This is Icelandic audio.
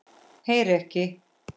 Heyri ekki.